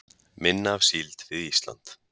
Minna af síld við Ísland